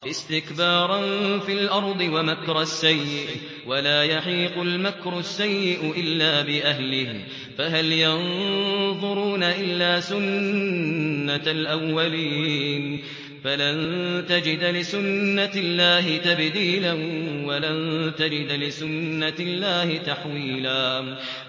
اسْتِكْبَارًا فِي الْأَرْضِ وَمَكْرَ السَّيِّئِ ۚ وَلَا يَحِيقُ الْمَكْرُ السَّيِّئُ إِلَّا بِأَهْلِهِ ۚ فَهَلْ يَنظُرُونَ إِلَّا سُنَّتَ الْأَوَّلِينَ ۚ فَلَن تَجِدَ لِسُنَّتِ اللَّهِ تَبْدِيلًا ۖ وَلَن تَجِدَ لِسُنَّتِ اللَّهِ تَحْوِيلًا